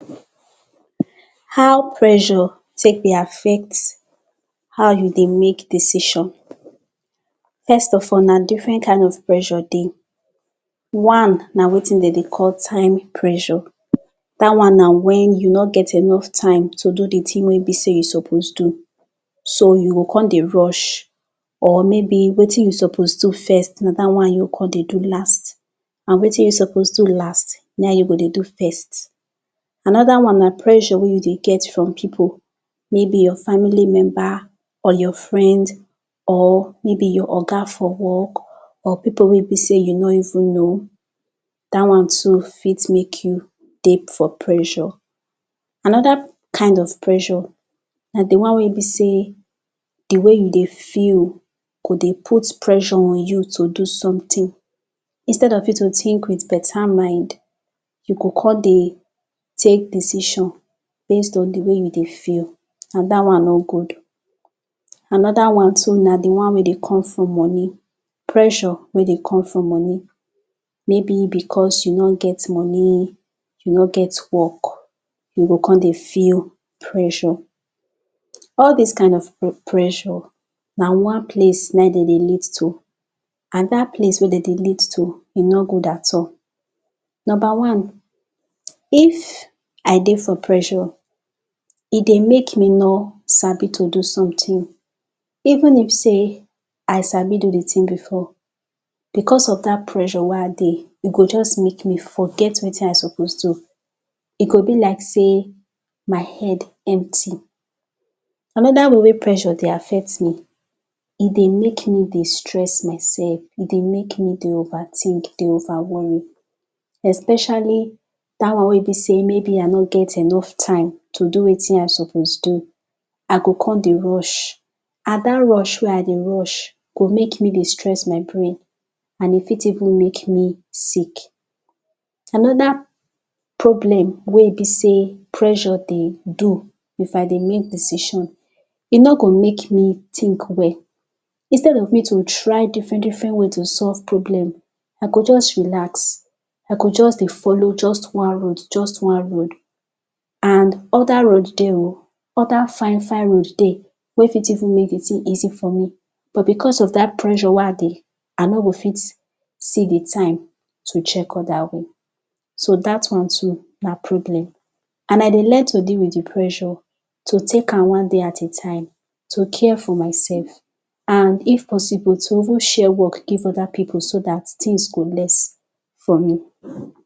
How pressure take dey affect how you dey make decision First of all, na different kind of pressure dey One, na wetin dem dey call time pressure Day one na when you nor get enough time to do the thing wey you suppose do so you go come dey rush Or, wetin you suppose do first na that one you go come dey do last, and wetin you suppose do last, na wetin you come dey do first Another one na pressure wey you dey get from people Maybe your family member, or your friend, or maybe your Oga for work, or people wey be sey you no even know, dat one too fit make you dey for pressure. Another kind of pressure na the one wey be sey di wey you dey feel go dey out pressure on you to do something Instead of you to think with better mind, you go come dey take decision based on di way you dey feel, and that one no good Another one na now di one wey dey come from money, pressure wey dey come from money, maybe because you no get money, you no get work, you go come dey feel pressure. All dis kind of pressure, na one place wey dem dey lead to. And that place wey dem dey lead to, e no good at all Number one. If I dey for pressure, e dey make me no Sabi to dey do something even if sey I Sabi do the thing before Because of that pressure wey I dey, e go just make me forget wetin I suppose do E go be like sey my head empty Another way wey pressure dey affect me, e dey make me dey stress myself, e dey make me dey over think, dey over worry, especially that one wey be sey I no get enough time to do wetin I suppose do I go come dey rush, and that rush wey I dey rush go make me dey stress my brain, and e fit even make me sick Another problem wey be sey pressure dey do if I dey do decision, e no go make me think well Instead of me to try different different way to solve problem, I go just relax, I go just dey follow just one road, just one road and other road dey o, other fine fine road dey wey fit even make the thing easy for me, but because of that pressure wey I dey, I no go fit see the time to check other way so that one too na problem And I dey learn to deal with the pressure, to take am one day at a time, to care for myself